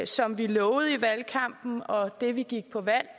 som vi lovede i valgkampen og det vi gik